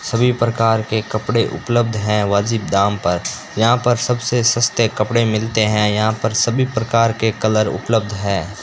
सभी प्रकार के कपड़े उपलब्ध है वाजिब दाम पर यहां पर सबसे सस्ते कपड़े मिलते हैं यहां पर सभी प्रकार के कलर उपलब्ध है।